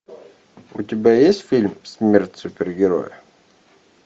у тебя есть фильм смерть супергероя